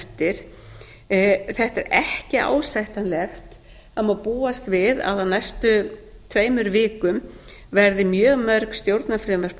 eftir þetta er ekki ásættanlegt búast má við að á næstu tveimur vikum verði mjög mörg stjórnarfrumvörp á